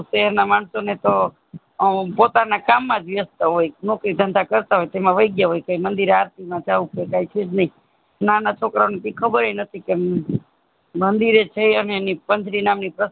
શહેર ના માણસો ને તો પોતાના ના કામ વ્યસ્ત હોય નોકરી ધંધા કરતા હોય તેમાં વયજ્ઞા કે મંદિરે આરતી માં જાઉં કે કે સેજ નય નાના છોકરા ને કે ખબર એય નથી મંદિરે જય એની પંથરી નામ ની